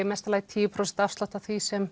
mesta lagi tíu prósent afslátt af því sem